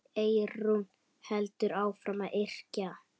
Eyrún heldur áfram að yrkja.